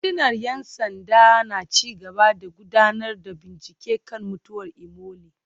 Rundunar ‘yan sanda na ci gaba da gudanar da bincike kan mutuwar Imole